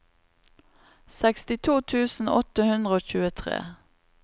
sekstito tusen åtte hundre og tjuetre